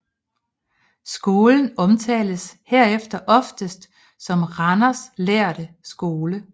Skolens omtales herefter oftest som Randers lærde skole